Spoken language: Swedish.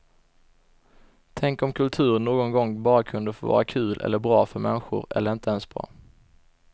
Tänk om kultur någon gång bara kunde få vara kul eller bra för människor eller inte ens bra.